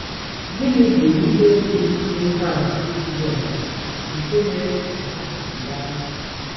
Gịnị bụ ihe dị n’ihe atụ Jisọs nke mere ka mmadụ kewaa iche?